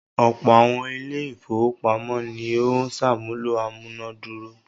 Ọ̀pọ̀ àwọn ilé-ìfowópamọ́sí ni ó ń ṣàmúlò amúná dúró.